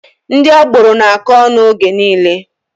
Ndị agboro na-akọ ọnụ oge niile.